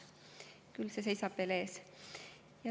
See seisab veel ees.